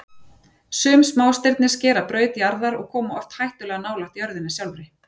Sum smástirni skera braut jarðar og koma oft hættulega nálægt jörðinni sjálfri.